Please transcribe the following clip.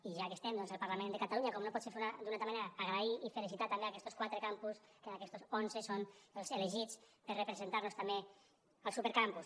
i ja que estem al parlament de catalunya com no pot ser d’una altra manera agrair i felicitar també aquestos quatre campus que d’aquestos onze són els elegits per representar nos també al supercampus